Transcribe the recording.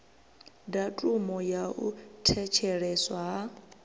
datumu ya u thetsheleswa ha